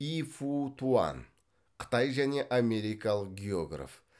и фу туан қытай және америкалық географ